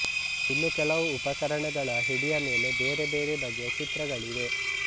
ಇನ್ನು ಕೆಲವು ಉಪಕರಣಗಳ ಹಿಡಿಯ ಮೇಲೆ ಬೇರೆ ಬೇರೆ ಬಗೆಯ ಚಿತ್ರಗಳಿವೆ